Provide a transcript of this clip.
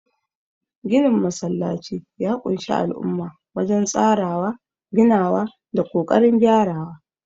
Ginin masallacin ya ƙunshi al'umma wajen tsarawa, ginawa, da kokarin gyarawa.